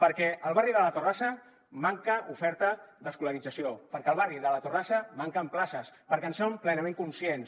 perquè al barri de la torrassa manca oferta d’escolarització perquè al barri de la torrassa manquen places perquè en som plenament conscients